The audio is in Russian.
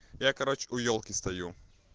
я короче у ёлки стою